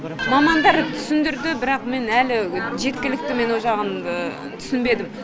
мамандар түсіндірді бірақ мен әлі жеткілікті мен ол жағын түсінбедім